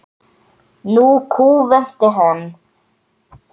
Nú kúventi hann.